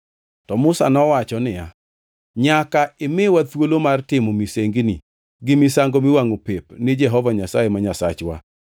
To Musa nowacho niya, “Nyaka imiwa thuolo mar timo misengini gi misango miwangʼo pep ni Jehova Nyasaye ma Nyasachwa.